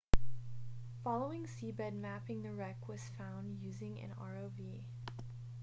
following seabed mapping the wreck was found using an rov